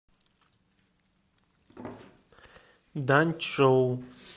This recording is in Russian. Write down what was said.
даньчжоу